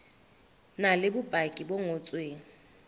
na le bopaki bo ngotsweng